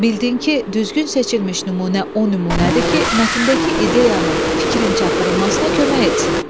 Bildin ki, düzgün seçilmiş nümunə o nümunədir ki, mətndəki ideyanın, fikrin çatdırılmasına kömək etsin.